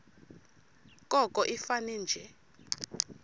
koko ifane nje